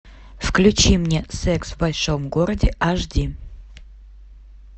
включи мне секс в большом городе аш ди